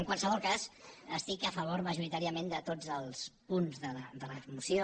en qualsevol cas estic a favor majoritàriament de tots els punts de la moció